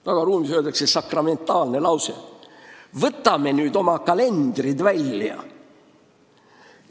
Tagaruumis öeldakse sakramentaalne lause: "Võtame nüüd oma kalendrid välja!